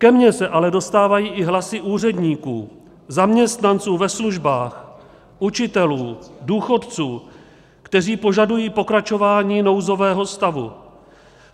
Ke mně se ale dostávají i hlasy úředníků, zaměstnanců ve službách, učitelů, důchodců, kteří požadují pokračování nouzového stavu.